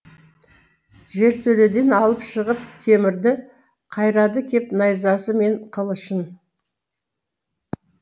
жертөледен алып шығып темірді қайрады кеп найзасы мен қылышын